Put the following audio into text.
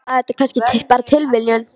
Eða var þetta kannski bara tilviljun?